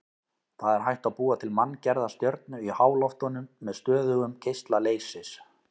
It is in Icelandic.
Það er hægt að búa til manngerða stjörnu í háloftunum með stöðugum geisla leysis.